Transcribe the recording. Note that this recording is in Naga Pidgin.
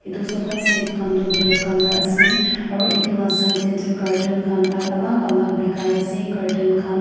etu sofaset khan toh black colour ase aru etu la side te toh curtain khan alak alak bikai ase curtain khan.